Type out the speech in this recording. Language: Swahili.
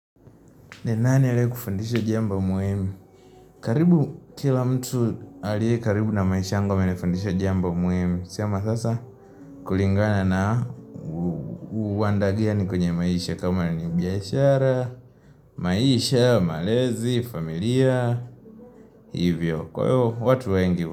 Ni nani aliye kufundisha jambo muhimu? Karibu kila mtu aliye karibu na maisha yangu amenifundisha jambo muhimu siama sasa kulingana na uandagani kwenye maisha kama ni biashara maisha, malezi, familia, hivyo, kwa hiyo watu wengi.